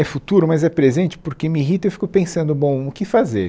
É futuro, mas é presente, porque me irrita e fico pensando, bom, o que fazer.